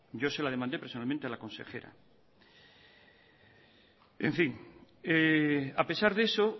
yo se la demandé personalmente a la consejera en fin a pesar de eso